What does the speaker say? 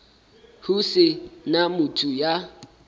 ho se na motho ya